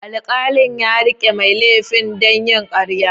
Alkalin ya rike mai laifin da yin karya.